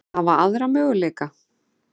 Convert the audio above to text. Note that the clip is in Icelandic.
Hvaða aðra möguleika?